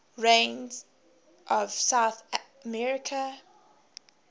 regions of south america